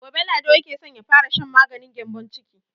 Gobe Lado yake so ya fara shan maganin gyambon ciki.